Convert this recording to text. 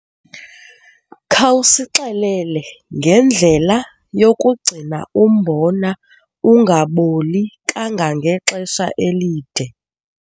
Khawusixelele ngendlela yokugcina umbona ungaboli kangangexesha elide.